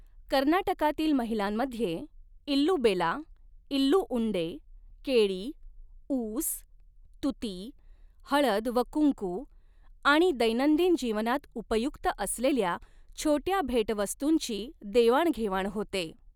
कर्नाटकातील महिलांमध्ये इल्लू बेला, इल्लू उंडे, केळी, ऊस, तूती, हळद व कुंकू आणि दैनंदिन जीवनात उपयुक्त असलेल्या छोट्या भेटवस्तूंची देवाणघेवाण होते.